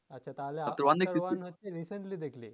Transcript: আচ্ছা তাহলে হচ্ছে recently দেখলি